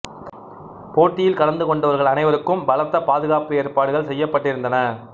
போட்டியில் கலந்து கொண்டவர்கள் அனைவருக்கும் பலத்த பாதுகாப்பு ஏற்படுகள் செய்யப்பட்டிருந்தன